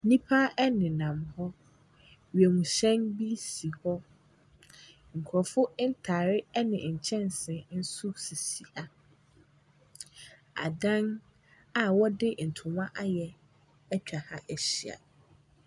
Nnipa ɛnenam hɔ. Wiemhyɛn bi si hɔ. Nkorɔfo ntaare ɛne nkyɛnsee nso sisi ha. Adan a wɔde ntoma ayɛ atwa ha ahyia.